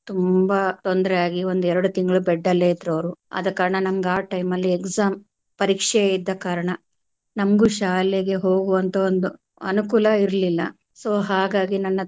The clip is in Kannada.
ತುಂಬಾ ತೊಂದರೆ ಆಗಿ ಒಂದೆರಡು ತಿಂಗಳು bed ಅಲ್ಲೆ ಇದ್ರು ಅವ್ರು ಆದ ಕಾರಣ ನಂಗ್ ಆ time ಅಲ್ಲಿ exam ಪರೀಕ್ಷೆ ಇದ್ದ ಕಾರಣ ನಮಗೂ ಶಾಲೆಗೆ ಹೋಗುವಂತ ಒಂದು ಅನುಕೂಲ ಇರಲಿಲ್ಲ so ಹಾಗಾಗಿ ನನ್ನ.